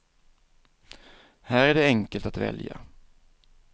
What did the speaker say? Här är det enkelt att välja.